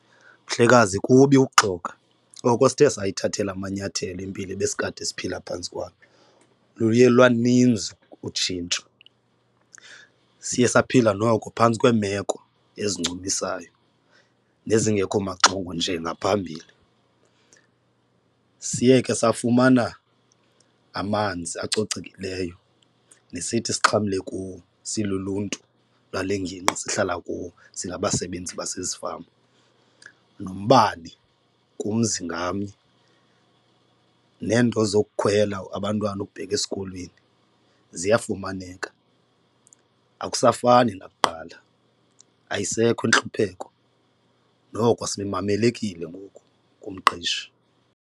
Mhlekazi kubi ukuxoka. Oko sithe sayithathele amanyathelo impilo ebesikade siphila phantsi kwayo, luye lwaninzi utshintsho. Siye saphila noko phantsi kweemeko ezincumisayo nezingekho maxongo njengaphambili. Siye ke safumana amanzi acocekileyo nesithi sixhamle kuwo siluluntu lwale ngingqi sihlala kuwo singabasebenzi basezifama, nombane kumzi ngamnye neento zokukhwela abantwana ukubheka esikolweni ziyafumaneka akusafani nakuqala ayisekho intlupheko noko simamelekile ngoku kumqeshi.